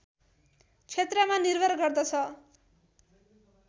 क्षेत्रमा निर्भर गर्दछ